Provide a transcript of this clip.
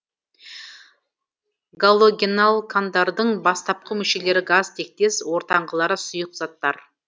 галогеналкандардың бастапқы мүшелері газ тектес ортаңғылары сұйық заттар